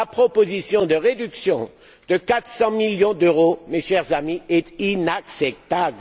La proposition de réduction de 400 millions d'euros, mes chers amis, est inacceptable!